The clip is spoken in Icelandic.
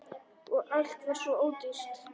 Og allt var svo ódýrt!